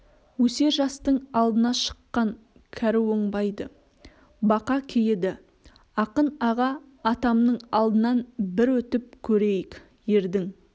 өсер жастың алдына шыққан кәрі оңбайды бақа кейіді ақын аға атамның алдынан бір өтіп көрейік ердің